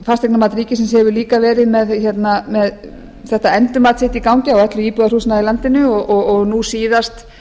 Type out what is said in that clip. fasteignamat ríkisins hefur líka verið með þetta endurmat sitt í gangi á öllu íbúðarhúsnæði í landinu og nú síðast